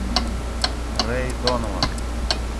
рэй донован